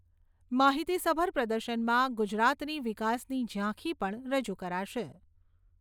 માહિતીસભર પ્રદર્શનમાં ગુજરાતની વિકાસની ઝાંખી પણ રજુ કરાશે.